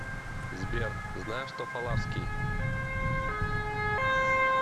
сбер знаешь тофаларский